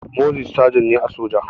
Moses sagen ne a soja